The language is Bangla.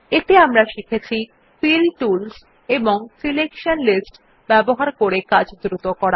এতে আমরা শিখেছি ফিল টুলস এবং সিলেকশন লিস্টস ব্যবহার করে কাজ দ্রুত করা